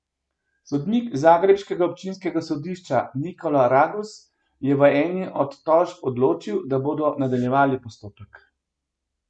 Sodnik zagrebškega občinskega sodišča Nikola Raguz je v eni od tožb odločil, da bodo nadaljevali postopek.